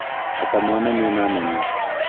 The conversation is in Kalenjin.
Atamanani mamanyu.